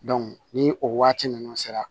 ni o waati ninnu sera